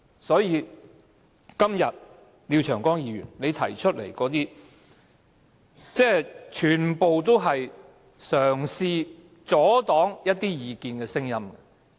所以，今天廖長江議員提出的修正案，全部也是企圖阻擋一些意見的聲音。